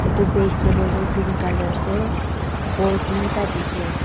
Tu base table tu green colour ase ball tin ta dekhe ase--